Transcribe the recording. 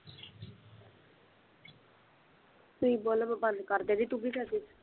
ਤੁਸੀਂ ਬੋਲੋ ਮੈਂ ਬੰਦ ਕਰ ਦਿੰਦੀ ਕਿਉਂਕਿ ਸਾਡੀ